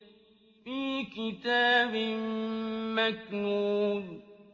فِي كِتَابٍ مَّكْنُونٍ